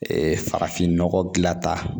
Ee farafinnɔgɔ gilan tata